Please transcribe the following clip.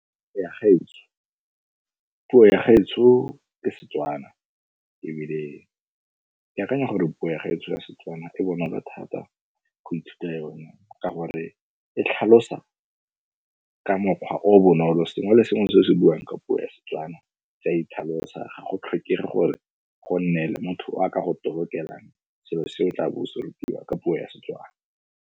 Ya gaetsho, puo ya gaetsho ke Setswana ebile ke akanya gore puo ya gaetsho ya Setswana e bonola thata go ithuta yone ka gore e tlhalosa ka mokgwa o o bonolo. Sengwe le sengwe se o se buang ka puo ya Setswana se a itlhalosa. Ga go tlhokege gore go nne le motho o a ka go tolokelang selo se o tla bo o se rutiwa ka puo ya Setswana.